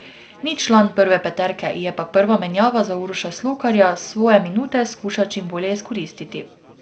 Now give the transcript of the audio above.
Ni član prve peterke, je pa prva menjava za Uroša Slokarja, svoje minute skuša čim bolje izkoristiti.